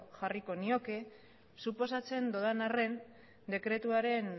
jarriko nioke suposatzen dudanaren dekretuaren